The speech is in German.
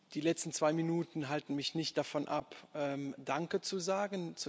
Die letzten zwei Minuten halten mich nicht davon ab, Danke zu sagen.